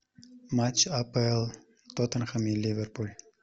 матч апл тоттенхэм и ливерпуль